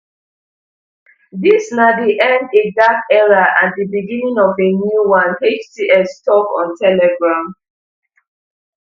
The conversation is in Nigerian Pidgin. dis na di end a dark era and di beginning of a new one hts tok on telegram